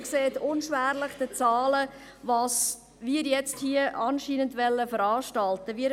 Sie sehen unschwer anhand der Zahlen, was wir hier anscheinend veranstalten wollen.